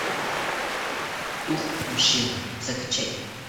дух мщения закачай